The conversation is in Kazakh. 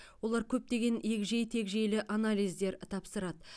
олар көптеген егжей тегжейлі анализдер тапсырады